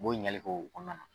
U b'o ɲinigali kɛ o fana na.